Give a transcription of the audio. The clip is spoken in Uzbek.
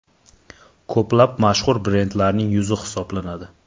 Ko‘plab mashhur brendlarining yuzi hisoblanadi.